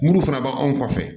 Minnu fana b'anw kɔfɛ